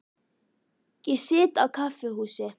Ég sit á kaffihúsi.